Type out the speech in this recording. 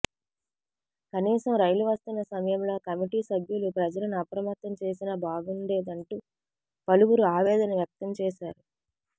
కనీసం రైలు వస్తున్న సమయంలో కమిటీ సభ్యులు ప్రజలను అప్రమత్తం చేసినా బాగుండేదంటూ పలువురు ఆవేదన వ్యక్తం చేశారు